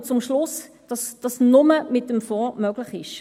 Wir kommen zum Schluss, dass dies nur mit dem Fonds möglich ist.